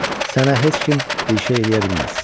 Sənə heç kim bir şey eləyə bilməz.